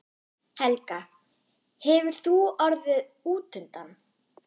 Helga: Hefur þú orðið útundan?